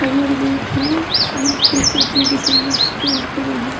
अरे यार बैठना यह फुल पटी जइसन पेंट करल ह।